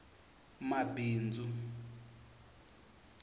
mabindzu